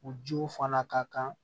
U jiw fana ka kan